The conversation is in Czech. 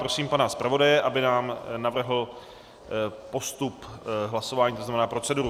Prosím pana zpravodaje, aby nám navrhl postup hlasování, to znamená proceduru.